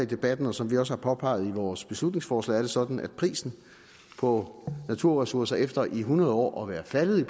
debatten og som vi også har påpeget i vores beslutningsforslag er det sådan at prisen på naturressourcer efter i hundrede år at være faldet